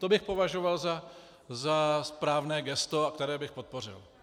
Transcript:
To bych považoval za správné gesto, které bych podpořil.